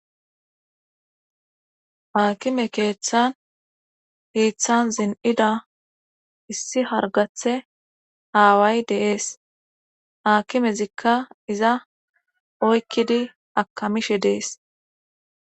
haakime keeththan hiiththan zin7ida issi hargathe aaway deees aakimezikka iza oykkidi akamishe dees